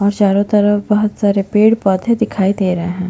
और चारो तरफ बहोत सारे पेड़ - पौधे दिखाई दे रहे है।